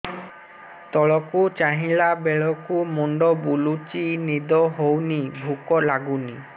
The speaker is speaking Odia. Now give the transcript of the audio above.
ତଳକୁ ଚାହିଁଲା ବେଳକୁ ମୁଣ୍ଡ ବୁଲୁଚି ନିଦ ହଉନି ଭୁକ ଲାଗୁନି